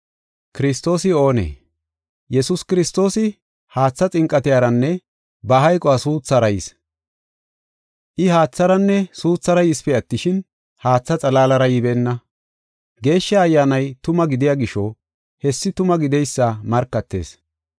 Yesuus Kiristoosi haatha xinqatiyaranne ba hayquwan gusida suuthara yis. I, haatharanne suuthara yisipe attishin, haatha xalaalara yibeenna. Geeshsha Ayyaanay tuma gidiya gisho, hessi tuma gideysa markatees.